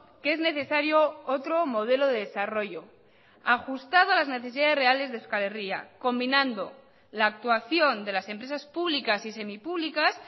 que es necesario otro modelo de desarrollo ajustado a las necesidades reales de euskal herria combinando la actuación de las empresas públicas y semipúblicas